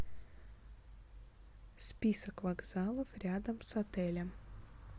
список вокзалов рядом с отелем